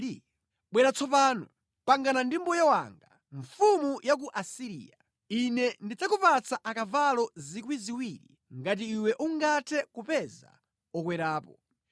“Ndipo tsopano bwera udzakambirane ndi mbuye wanga, mfumu ya ku Asiriya: Ine ndidzakupatsa akavalo 2,000 ngati ungathe kupeza okwerapo!